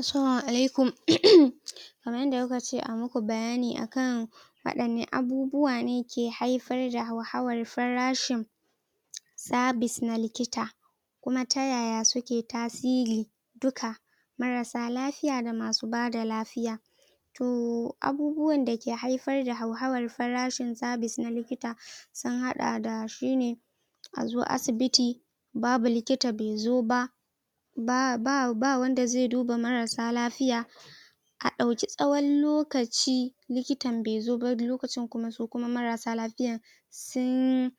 assalama alaikum kamar yanda kukace ayi maku bayani akan wadanne abubuwane ke haifarda hauhawar farashin sabis na likita kuma ta yaya suke tasiri duka marasa lafiya da masu bada lafiya to abubuwan dake haifar da hauhawar farashin sabis na likita sun hada da shine azo asibiti babu likita bai zo ba ba wanda zai duba marasa lafiya ka dauki tsawon lokaci likitan bai zo ba wani lokacin kuma su kuma marasa lafiyan sun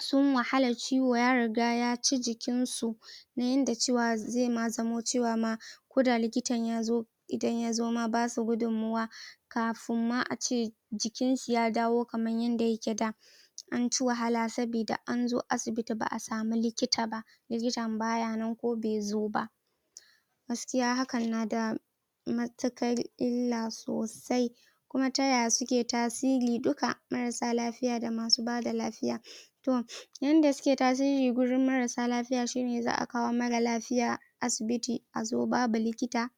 sun wahala ciwo ya riga ya ci jikin su kamar yanda zai ma zamo cewa ma koda likitan yazo idan yazo ma basu gudun muwa kafin ma ace jikin su ya dawo kamar yanda yake da anci wahala sabida anje asibitin ba'a sami lokita ba likitan baya nan ko baizo ba gaskiya hakan nada matukar illa sosai kuma taya suke tasiri duka marasa lafiya da masu bada lafiya to yanda suke tasiri wurin marasa lafiya shine za'a kawo marar lafiya asibiti azo babu likita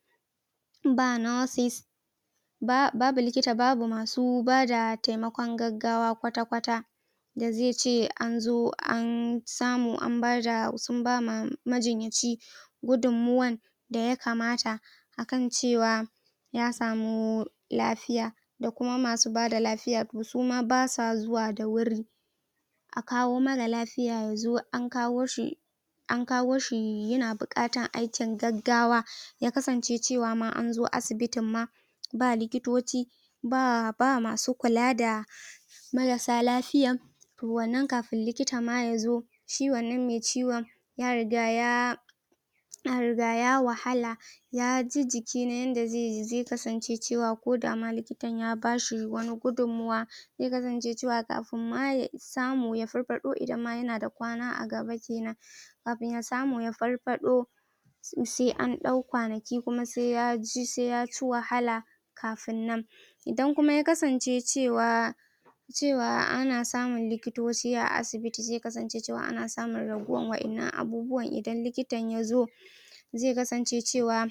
ba nosis babu likita babu masu bada taimakon gaggawa kwata kwata yanzu yace kuma anzo an samu an bada sun ba majinyaci gudunmuwa daya kamata akan cewa ya samu lafiya da kuma masu bada lafiya suma basa zuwa da wuri a kawo marar lafiya yazo an kawoshi an kawo shi yana bukatar aikin gaggawa ya kasance cewa ma anzo asibitin ma ba likitoci ba masu kula da marasa lafiya wannan ma kafin likitan ma yazo shi wannan mai ciwon ya riga ya ya riga ya wahala yaji jikina yanda zai kasance cewa kodama likitan ya bashi wani gudunmuwa zai kasance cewa kafin ma a samu ya farfado idan yanada kwana a gaba kenan kafin ya samu ya farfado to sai an dau kwanaki kuma sai ya ci wahala kafin nan idan kuma ya kasance cewa cewa ana samun likitoci a asibiti zai kasance cewa ana samun raguwar wadannan abubuwan idan likitan yazo zai kasance cewa